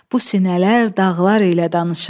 Bu sinələr dağlar ilə danışır.